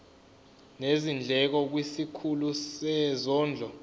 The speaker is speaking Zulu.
nezindleko kwisikhulu sezondlo